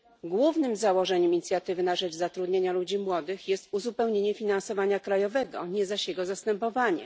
Głównym założeniem Inicjatywy na rzecz zatrudnienia ludzi młodych jest uzupełnienie finansowania krajowego, nie zaś jego zastępowanie.